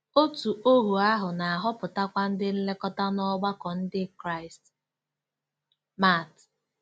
Òtù ohu ahụ na-ahọpụtakwa ndị nlekọta n'ọgbakọ Ndị Kraịst. — Mat.